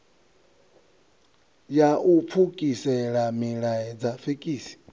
ya u pfukisela milaedza fekisi